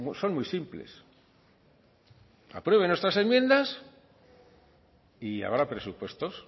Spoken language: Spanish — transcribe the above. son muy simples aprueben nuestras enmiendas y habrá presupuestos